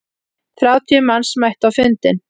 Þrjátíu manns mættu á fundinn.